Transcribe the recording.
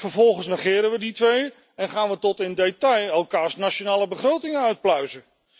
Vervolgens negeren we die twee en gaan we tot in detail elkaars nationale begrotingen uitpluizen.